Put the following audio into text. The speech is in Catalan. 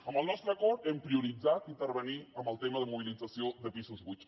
amb el nostre acord hem prioritzat intervenir en el tema de mobilització de pisos buits